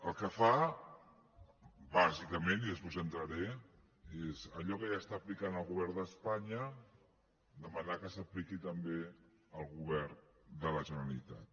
el que fa bàsicament i després hi entraré és allò que ja està aplicant el govern d’espanya demanar que s’apliqui també al govern de la generalitat